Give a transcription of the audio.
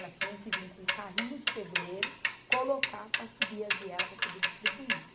Elas tinham que vir com um carrinho de pedreiro, colocar para subir a viela para poder distribuir.